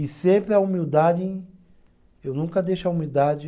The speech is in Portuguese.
E sempre a humildade, eu nunca deixo a humildade.